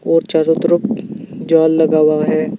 और चारों तरफ जाल लगा हुआ है।